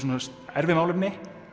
erfið málefni